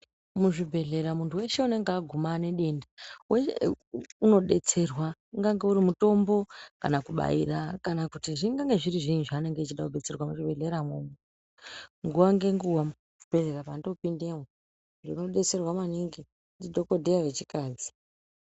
Muzvibhedhlera muntu weshe unenge aguma nedenda unodetserwa. Ungange uri mutombo kana kubaira, kana kuti zvingange zviri zviinyi zvaanenge echida kubetserwa muchibhedhleramo. Nguwa ngenguwa muchibhedhleya pandopindemo, ndinodetserwa maningi ndidhokodheya vechikadzi.